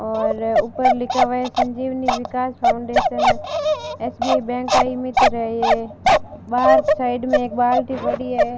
और ऊपर लिखा हुआ है Sanjeevani Vikas foundation SBI bank का ईमित्र है बाहर साइड में एक बाल्टी पड़ी है।